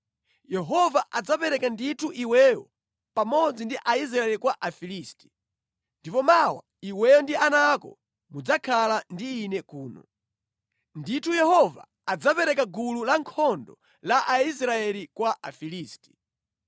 Yehova adzapereka ndithu iweyo pamodzi ndi Aisraeli kwa Afilisti. Ndipo mmawa iweyo ndi ana ako mudzakhala ndi ine kuno. Ndithu Yehova adzapereka gulu lankhondo la Aisraeli kwa Afilisti.”